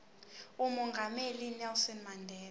umongameli unelson mandela